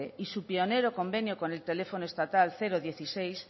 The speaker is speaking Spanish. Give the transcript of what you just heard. y su pionero convenio con el teléfono estatal dieciséis